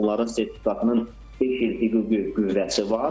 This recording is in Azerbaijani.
Yəni onların sertifikatının beş il hüquqi qüvvəsi var.